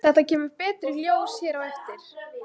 Þetta kemur betur í ljós hér á eftir.